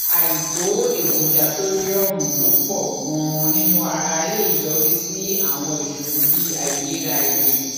àìtó èròjà sódíọọmù tó pọ ganan nínú ara lè yọrí sí àwọn ìṣòro bí àìlera ẹjẹ